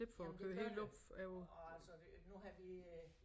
Jamen det gør det og altså nu har vi øh